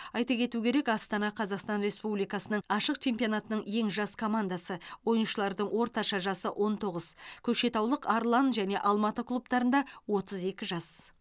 айта кету керек астана қазақстан республикасының ашық чемпионатының ең жас командасы ойыншылардың орташа жасы он тоғыз көкшетаулық арлан және алматы клубтарында отыз екі жас